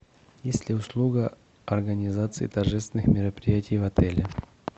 есть ли услуга организации торжественных мероприятий в отеле